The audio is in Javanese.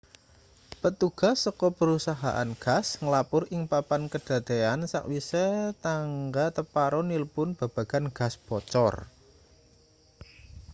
petugas saka perusahaan gas nglapur ing papan kadadean sakwise tangga teparo nilpun babagan gas bocor